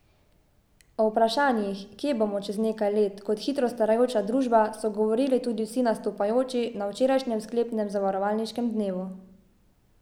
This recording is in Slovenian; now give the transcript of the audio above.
O vprašanjih, kje bomo če nekaj let kot hitro starajoča družba, so govorili tudi vsi nastopajoči na včerajšnjem sklepnem zavarovalniškem dnevu.